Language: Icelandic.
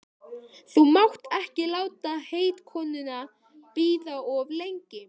Þú mátt ekki láta heitkonuna bíða of lengi.